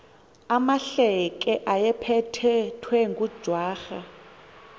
amahleke ayephethwe ngujwarha